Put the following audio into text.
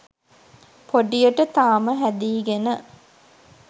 පොඩියට තාම හැදීගෙන.